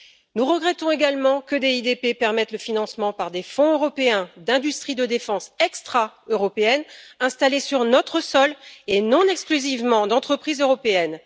Nous regrettons également que le programme DIDP permette le financement par des fonds européens, d'industries de défense extra européennes installées sur notre sol et non exclusivement d'entreprises européennes.